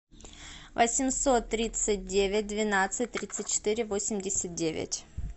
восемьсот тридцать девять двенадцать тридцать четыре восемьдесят девять